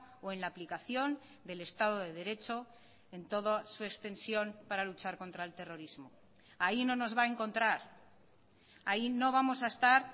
o en la aplicación del estado de derecho en toda su extensión para luchar contra el terrorismo ahí no nos va a encontrar ahí no vamos a estar